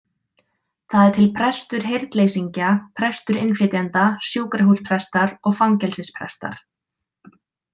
Það er til prestur heyrnleysingja, prestur innflytjenda, sjúkrahúsprestar og fangelsisprestar.